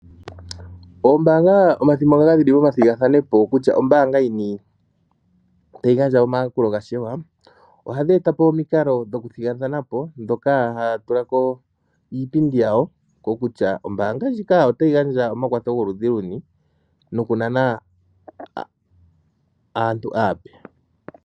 Oombanga omathimbo gamwe ohadhi ningi omathigathano kutya ombaanga yini tayi gandja omayakulo ga shewa. Ohadhi etapo omikalo dhoku thigathanapo ndhoka haya tulamo iipindi yawo kokutya ombaanga ndjika otayi gandja omakwatho gokudhi luni nokunana aantu aape